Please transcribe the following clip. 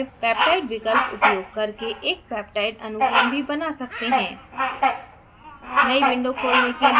हम insert menu में peptide विकल्प उपयोग करके एक peptide अनुक्रम भी बना सकते है